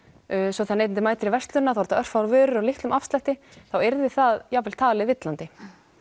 svo þegar neytandi mætir í verslunina þetta örfáar vörur á litlum afslætti þá yrði það jafnvel talið villandi